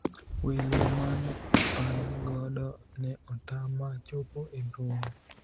welo mane an godo ne otama chopo e romo